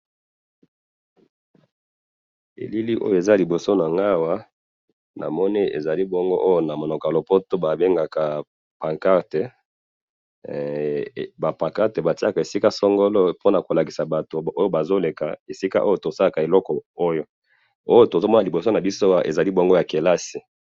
Elili oyo naza liboso nanga awa, namoni ezali bongo oyo namunoko yalopoto babengaka pancarte, eh! Ba pancarte patiyaka esika songolo, ponakolakisa batu oyo bazoleka, esika oyo tosalaka eloko oyo, oyo tozomona liboso nabiso awa, azali bongo yakelasi.